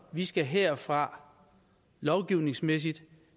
vi skal herfra lovgivningsmæssigt